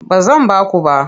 Ba zan ba ku ba.